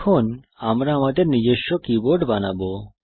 এখন আমরা আমাদের নিজস্ব কীবোর্ড বানাবো